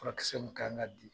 Furakisɛ mun kan ka di,